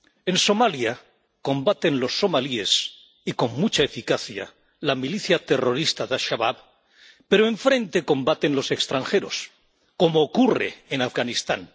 En Somalia combaten los somalíes y, con mucha eficacia, la milicia terrorista de Al Shabab, pero enfrente combaten los extranjeros, como ocurre en Afganistán.